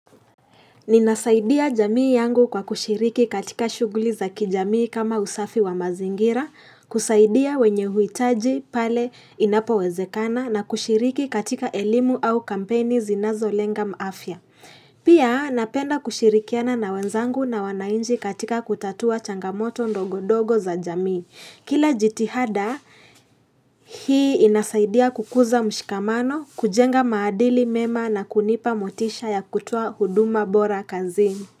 Ninasaidia jamii yangu kwa kushiriki katika shuguli za kijamii kama usafi wa mazingira, kusaidia wenye uitaji pale inapo wezekana na kushiriki katika elimu au kampeni zinazo lenga afia. Pia napenda kushirikiana na wenzangu na wananchi katika kutatua changamoto ndogo ndogo za jamii. Kila jitihada hii inasaidia kukuza mshikamano, kujenga maadili mema na kunipa motisha ya kutoa huduma bora kazi.